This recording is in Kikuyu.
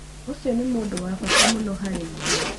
ũcio nĩ mũndũ wa bata mũno harĩ ithuĩ